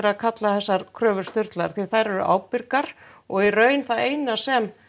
að kalla þessar kröfur sturlaðar því þær eru ábyrgar og í raun það eina sem